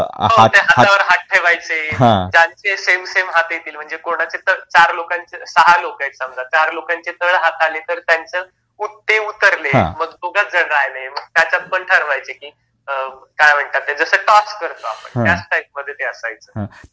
हो ते हातावर हात ठेवायचे, ज्यांचे सेम सेम हात येतील म्हणजे कोणाचे तर चार लोकांचे, सहा लोकं आहेत समजा, चार लोकांचे तळहात आले तर त्यांचं ते उतरले. मग दोघंच जण राहिले. मग त्याच्यात पण ठरवायचे की काय म्हणतात ते जसं टॉस करतो आपण त्याच टाईपमध्ये ते असायचं.